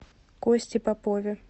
косте попове